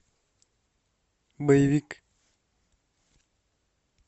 боевик